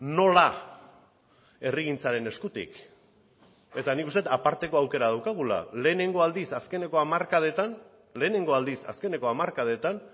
nola herrigintzaren eskutik eta nik uste dut aparteko aukera daukagula lehenengo aldiz azkeneko hamarkadetan lehenengo aldiz azkeneko hamarkadetan